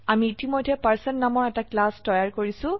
আমি ইতিমধ্যে পাৰ্চন নামৰ এটা ক্লাস তৈয়াৰ কৰিছো